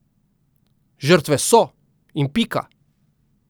Žrtve so, in pika!